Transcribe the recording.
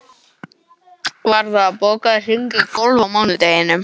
Varða, bókaðu hring í golf á mánudaginn.